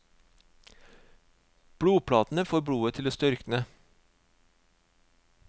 Blodplatene får blodet til å størkne.